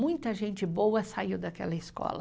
Muita gente boa saiu daquela escola.